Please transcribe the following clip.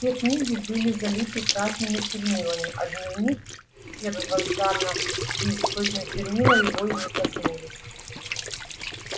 все книги были залиты красными чернилами а дневник первозданно чист точно чернила его и не коснулись